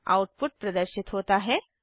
output प्रदर्शित होता है